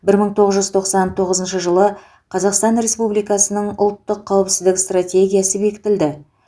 бір мың тоғыз жүз тоқсан тоғызыншы жылы қазақстан республикасының ұлттық қауіпсіздік стратегиясы бекітілді